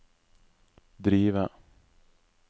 drive